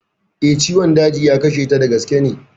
Eh, ciwon daji ya kashe ta, da gaske ne